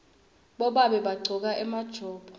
bobabe bagcoka emajobo